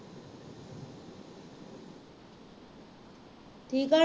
ਠੀਕ ਆ